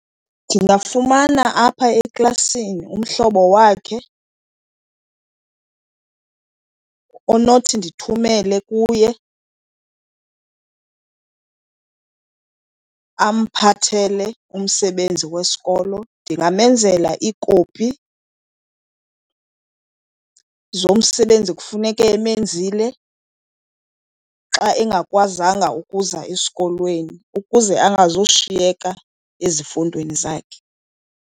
Ndingafumana apha eklasini umhlobo wakhe onothi ndithumele kuye amphathele umsebenzi wesikolo. Ndinganyamezela iikopi zomsebenzi ekufuneke emenzile xa engakwazanga ukuza esikolweni ukuze angazushiyeka ezifundweni zakhe.